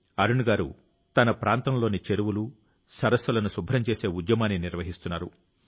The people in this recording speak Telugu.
అరుణ్ గారు తన ప్రాంతంలోని చెరువులు సరస్సులను శుభ్రం చేసే ఉద్యమాన్ని నిర్వహిస్తున్నారు